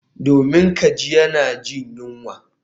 Domin kaji yana jin yunwa